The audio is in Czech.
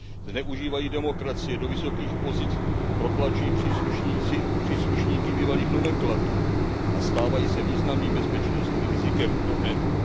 Zneužívají demokracie, do vysokých pozic protlačují příslušníky bývalých nomenklatur a stávají se významným bezpečnostním rizikem pro EU.